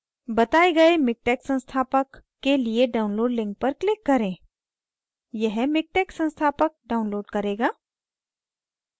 बताये गए miktex संस्थापक के लिए download link पर click करें यह miktex संस्थापक download करेगा